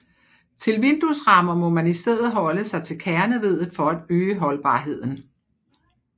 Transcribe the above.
Til vinduesrammer må man i stedet holde sig til kerneveddet for at øge holdbarheden